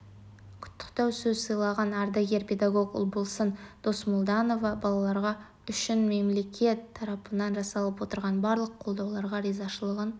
құттықтау сөз сөйлеген ардагер педагог ұлболсын досмолданова балаларға үшін мемлекет тарапынан жасалып отырған барлық қолдауларға ризашылығын